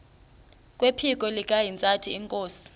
kwephiko likahintsathi inkosi